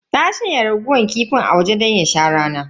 Ta shanya raguwar kifin a waje don ya sha rana.